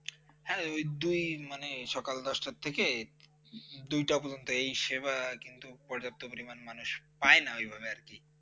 হ্যাঁ, দুই মানে ঐ সকাল দশটার থেকে, দুইটা পর্যন্তই এই সেবার পর্যাপ্ত পরিমাণ মানুষ কিন্তু পায় না এইভাবে আর কি ।